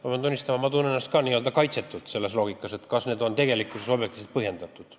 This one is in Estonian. Ma pean tunnistama, et ma tunnen ennast ka kaitsetult selle loogika koha pealt, kas need summad on tegelikkuses objektiivselt põhjendatud.